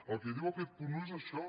el que diu aquest punt un és això